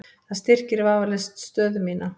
Það styrkir vafalaust stöðu mína.